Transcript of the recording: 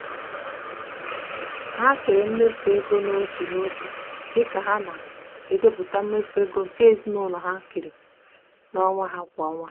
ha kere mmefu ego n'otu n'otu dị ka ha na-edepụta mmefu ego nke ezinụụlọ ha keere onwe ha kwa ọnwa.